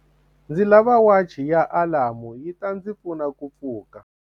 ndzi lava wachi ya alamu yi ta ndzi pfuna ku pfuka